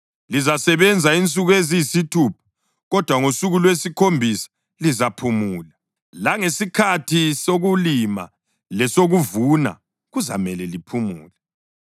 Lizasebenza insuku eziyisithupha, kodwa ngosuku lwesikhombisa lizaphumula; langesikhathi sokulima lesokuvuna kuzamele liphumule.